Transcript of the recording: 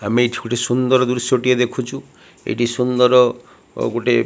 ଆମେ ଏଠି ଗୋଟେ ସୁନ୍ଦର ଦୃଶ୍ୟଟିଏ ଦେଖୁଛୁ ଏଠି ସୁନ୍ଦର ଗୋଟେ --